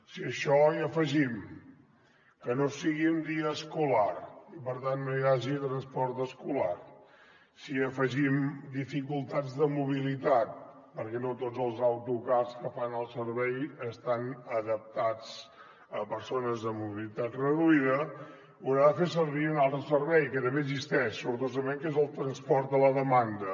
si a això hi afegim que no sigui un dia escolar i per tant no hi hagi transport escolar si hi afegim dificultats de mobilitat perquè no tots els autocars que fan el servei estan adaptats a persones amb mobilitat reduïda hauran de fer servir un altre servei que també existeix sortosament que és el transport a la demanda